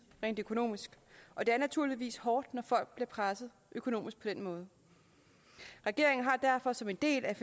rent økonomisk og det er naturligvis hårdt når folk bliver presset økonomisk på den måde regeringen har derfor som en del af